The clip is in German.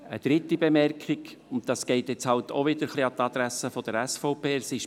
Eine dritte Bemerkung, die halt auch wieder an die Adresse der SVP geht: